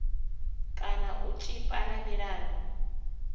kana u tshipa na milandu